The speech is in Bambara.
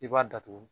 I b'a datugu